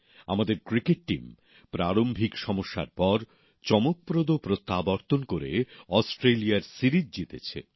আমাদের cricket team প্রারম্ভিক সমস্যার পর চমকপ্রদ প্রত্যাবর্তন করে অস্ট্রেলিয়ায় সিরিজ জিতেছে